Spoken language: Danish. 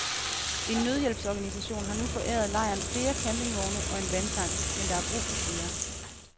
En nødhjælpsorganisation har nu foræret lejren flere campingvogne og en vandtank, men der er brug for flere.